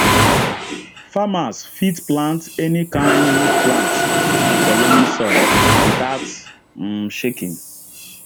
farmers fit plant any kind um plant for loamy soil without um shaking